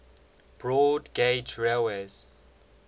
broad gauge railways